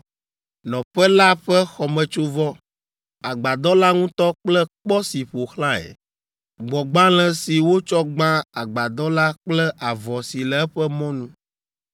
Nɔƒe la ƒe xɔmetsovɔ, agbadɔ la ŋutɔ kple kpɔ si ƒo xlãe, gbɔ̃gbalẽ si wotsɔ gbã agbadɔ la kple avɔ si le eƒe mɔnu.